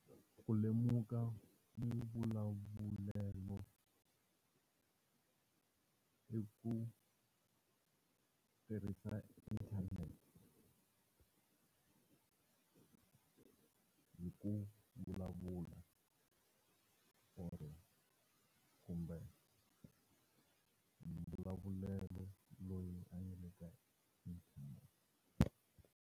Ku lemuka muvulavulelo i ku tirhisa inthanete hi ku vulavula or kumbe muvulavulelo loyi a yimile .